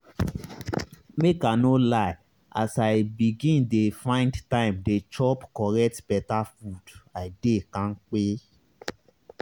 make i no lie as i begin dey find time dey chop correct beta food i dey kampe.